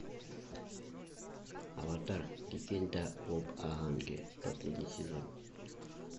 аватар легенда об аанге последний сезон